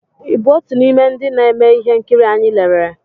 ị bụ otu n'ime ndị na-eme ihe nkiri anyị lerere?